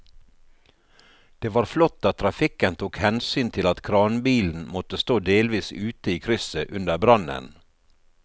Det var flott at trafikken tok hensyn til at kranbilen måtte stå delvis ute i krysset under brannen.